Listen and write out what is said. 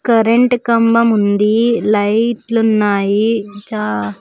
current కంభం ఉంది లైట్లు ఉన్నాయి చా--